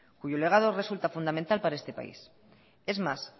cuyo legado resulta fundamental para este país es más